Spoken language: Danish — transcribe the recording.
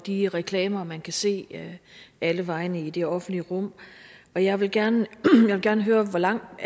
de reklamer man kan se alle vegne i det offentlige rum og jeg vil gerne gerne høre hvor langt